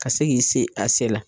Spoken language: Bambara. Ka se k'i se a se la.